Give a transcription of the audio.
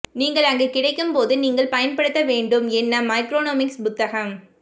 நீங்கள் அங்கு கிடைக்கும் போது நீங்கள் பயன்படுத்த வேண்டும் என்ன மைக்ரோனமிக்ஸ் புத்தகம்